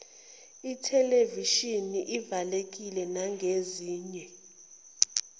ithelevishini evalekile nangezinye